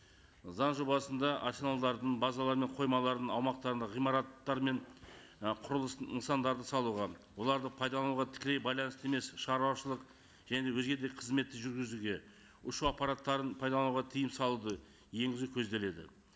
заң жобасында арсеналдардың базалар мен қоймалардың аумақтарында ғимараттар мен і құрылыс нысандарын салуға оларды пайдалануға тікелей байланысты емес шаруашылық және өзге де қызметті жүргізуге ұшу аппараттарын пайдалануға тыйым салуды енгізу көзделеді